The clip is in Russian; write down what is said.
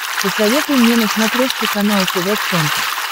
посоветуй мне на смотрешке канал тв центр